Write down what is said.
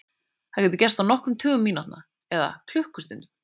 Það getur gerst á nokkrum tugum mínútna eða klukkustundum.